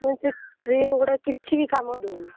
ମୁଁ କହିଲି ସେ cream କିଛି ବି କାମ ଦଉନି।